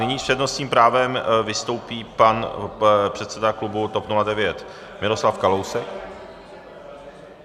Nyní s přednostním právem vystoupí pan předseda klubu TOP 09 Miroslav Kalousek.